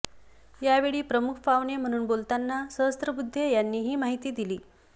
यावेळी प्रमुख पाहुणे म्हणून बोलताना सहस्रबुद्धे यांनी ही माहिती दिली